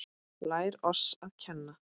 Lær oss að kenna